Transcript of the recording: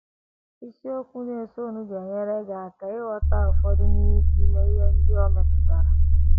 Isiokwu na - esonụ ga - enyere gị aka ịghọta ụfọdụ n’ime ihe ndị o metụtara.